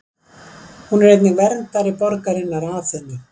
Hún var einnig verndari borgarinnar Aþenu.